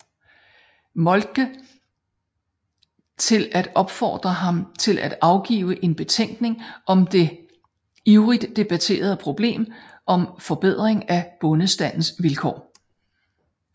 Moltke til at opfordre ham til at afgive en betænkning om det ivrigt debatterede problem om forbedring af bondestandens vilkår